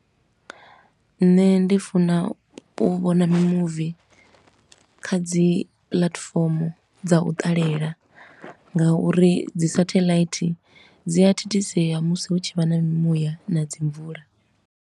Nṋe ndi funa u vhona mimuvi kha dzi platform dza u ṱalela nga uri dzi satelite dzi a thithisea musi hu tshi vha na mimuya na dzi mvula.